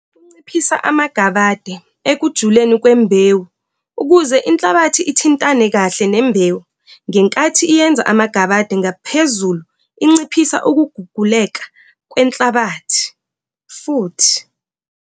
Kunciphisa amagabade ekujuleni kwembewu ukuze inhlabathi ithintane kahle nembewu ngenkathi yenza amagabade ngaphezulu inciphisa ukuguguleka kwenhlabathi futhi.